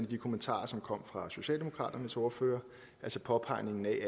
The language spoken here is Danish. de kommentarer som kom fra socialdemokratiets ordfører altså påpegningen af